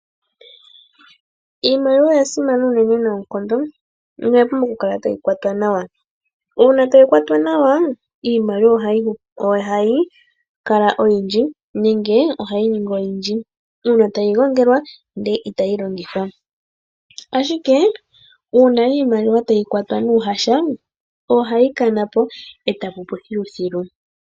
Iimaliwa oya simana unene noonkondo na oya pumbwa okukala tayi kwatwa nawa. Uuna tayi kwatwa nawa, iimaliwa ohayi kala oyindji nenge ohayi ningi oyindji. Uuna tayi gongelwa ndele itayi longithwa. Ashike uuna iimaliwa tayi kwatwa nuuhasha, ohayi kana po e ta pupu thiluthilu.